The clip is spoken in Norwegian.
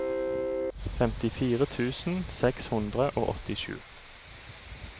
femtifire tusen seks hundre og åttisju